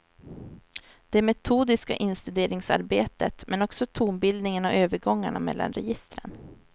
Det metodiska instuderingsarbetet, men också tonbildningen och övergångarna mellan registren.